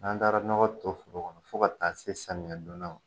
N'an taara nɔgɔ to foro kɔnɔ fo ka taa se samiya donda ma